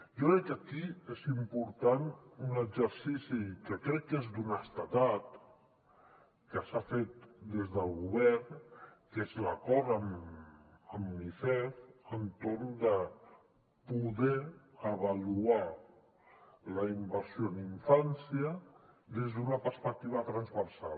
jo crec que aquí és important un exercici que crec que és d’honestedat que s’ha fet des del govern que és l’acord amb unicef per poder avaluar la inversió en infància des d’una perspectiva transversal